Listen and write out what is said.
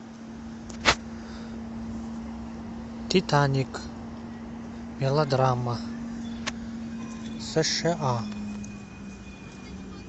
титаник мелодрама сша